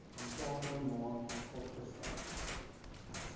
aanstaande maand oopgestel